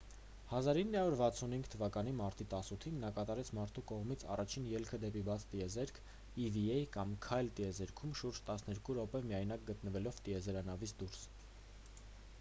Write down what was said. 1965 թվականի մարտի 18-ին նա կատարեց մարդու կողմից առաջին ելքը դեպի բաց տիեզերք eva կամ «քայլք տիեզերքում»՝ շուրջ տասներկու րոպե միայնակ գտնվելով տիեզերանավից դուրս։